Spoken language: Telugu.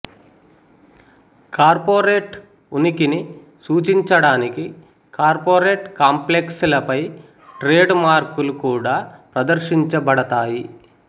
కార్పొరేట్ ఉనికిని సూచించడానికి కార్పొరేట్ కాంప్లెక్స్ లపై ట్రేడ్ మార్క్ లు కూడా ప్రదర్శించబడతాయి